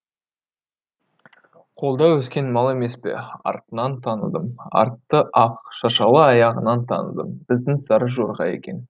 қолда өскен мал емес пе артынан таныдым арты ақ шашалы аяғынан таныдым біздің сары жорға екен